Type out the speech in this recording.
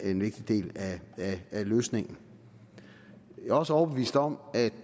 en vigtig del af af løsningen jeg er også overbevist om at